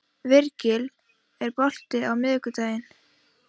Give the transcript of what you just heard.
Virgill, er bolti á miðvikudaginn?